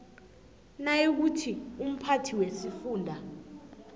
nayikuthi umphathi wesifunda